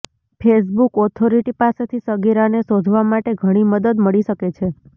Facebook authority પાસેથી સગીરાને શોધવા માટે ઘણી મદદ મળી શકે છે